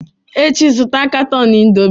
Echi, zụta katọn Indomie!